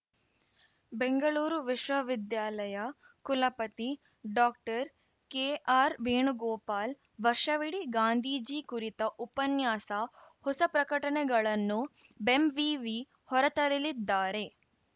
ಬೆಂಗಳೂರು ವಿಶ್ವವಿದ್ಯಾಲಯ ಕುಲಪತಿ ಡಾಕ್ಟರ್ಕೆಆರ್‌ವೇಣುಗೋಪಾಲ್‌ ವರ್ಷವಿಡೀ ಗಾಂಧೀಜಿ ಕುರಿತ ಉಪನ್ಯಾಸ ಹೊಸ ಪ್ರಕಟಣೆಗಳನ್ನು ಬೆಂವಿವಿ ಹೊರತರಲಿದ್ದಾರೆ